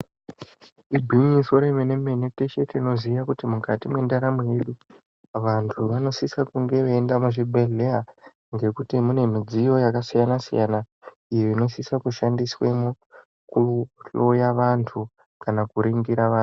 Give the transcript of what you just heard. Igwinyiso remene mene teshe tinoziya kuti mukati mendaramo yedu vantu vanosisa kunge veienda muzvibhedhlera ngekuti mune midziyo yakasiyana-siyana iyo inosisa kushandiswamo kuhloya vantu kana kuningira vantu.